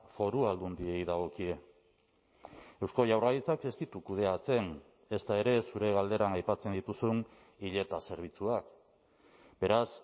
foru aldundiei dagokie eusko jaurlaritzak ez ditu kudeatzen ezta ere zure galderan aipatzen dituzun hileta zerbitzuak beraz